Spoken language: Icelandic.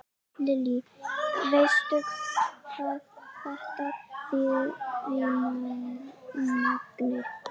Lillý: Veistu hvað þetta þýðir í magni?